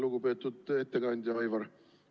Lugupeetud ettekandja Aivar!